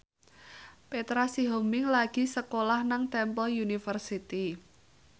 Petra Sihombing lagi sekolah nang Temple University